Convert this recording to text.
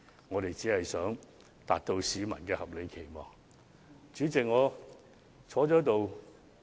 我們只是盡力達到市民的合理期望而已。